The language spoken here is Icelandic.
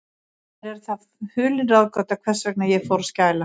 Mér er það hulin ráðgáta, hvers vegna ég fór að skæla.